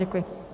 Děkuji.